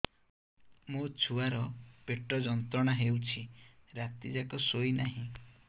ମୋ ଛୁଆର ପେଟ ଯନ୍ତ୍ରଣା ହେଉଛି ରାତି ଯାକ ଶୋଇନାହିଁ